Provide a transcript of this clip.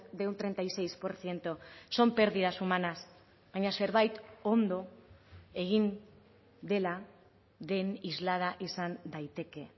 de un treinta y seis por ciento son pérdidas humanas baina zerbait ondo egin dela den islada izan daiteke